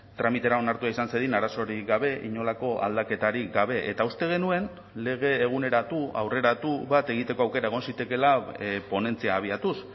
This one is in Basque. tramitera onartua izan zedin arazorik gabe inolako aldaketarik gabe eta uste genuen lege eguneratu aurreratu bat egiteko aukera egon zitekeela ponentzia abiatuz